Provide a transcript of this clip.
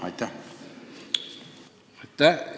Aitäh!